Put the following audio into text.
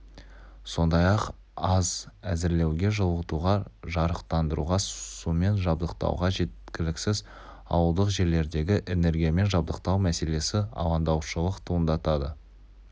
сондай-ақ ас әзірлеуге жылытуға жарықтандыруға сумен жабдықтауға жеткіліксіз ауылдық жерлердегі энергиямен жабдықтау мселесі алаңдаушылық туындатады